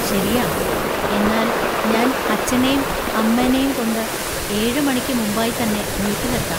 ശരിയാ. എന്നാൽ ഞാൻ അച്ഛനേം അമ്മനേം കൊണ്ട് ഏഴ്‌ മണിക്ക് മുമ്പായി തന്നെ ബൂത്തിലെത്താ.